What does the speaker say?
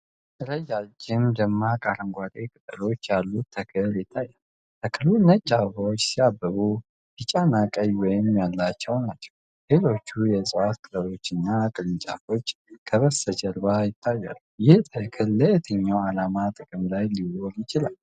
ረጅም፣ ደማቅ አረንጓዴ ቅጠሎች ያሉት ተክል ይታያል። ተክሉ ነጭ አበባዎች ሲያብቡ፣ ቢጫ እና ቀይ መሀል ያላቸው ናቸው። የሌሎች እፅዋት ቅጠሎች እና ቅርንጫፎች ከበስተጀርባ ይታያሉ። ይህ ተክል ለየትኛው ዓላማ ጥቅም ላይ ሊውል ይችላል?